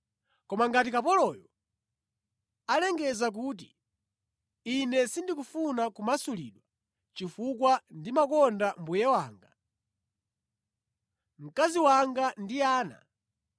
“Koma ngati kapoloyo alengeza kuti, ‘Ine sindikufuna kumasulidwa chifukwa ndimakonda mbuye wanga, mkazi wanga ndi ana,’